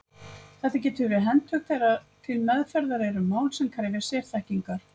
Þetta getur verið hentugt þegar til meðferðar eru mál sem krefjast sérþekkingar.